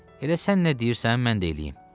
Elə sən nə deyirsən, mən də eləyim.